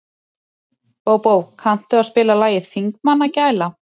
Bóbó, kanntu að spila lagið „Þingmannagæla“?